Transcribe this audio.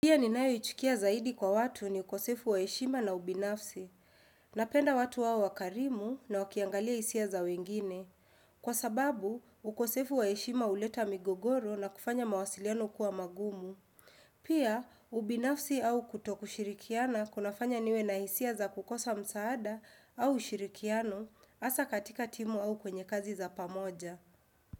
Pia ninayoichukia zaidi kwa watu ni ukosefu wa heshima na ubinafsi. Napenda watu wawe wakarimu na wakiangalia hisia za wengine. Kwa sababu, ukosefu wa heshima huleta migogoro na kufanya mawasiliano kuwa magumu. Pia, ubinafsi au kutokushirikiana kunafanya niwe na hisia za kukosa msaada au ushirikiano hasaa katika timu au kwenye kazi za pamoja.